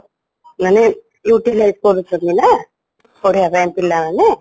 ମାନେ utilize କରୁଛନ୍ତି ନା ପଢିବା ପାଇଁ ପିଲା ମାନେ